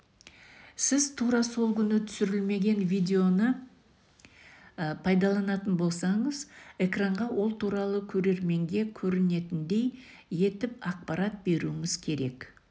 сіз тура сол күні түсірілмеген видеоны пайдаланатын болсаңыз экранға ол туралы көрерменге көрінетіндей етіп ақпарат беруіңіз керек